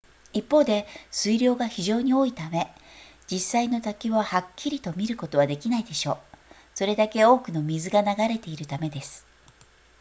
一方で水量が非常に多いため実際の滝をはっきりと見ることはできないでしょうそれだけ多くの水が流れているためです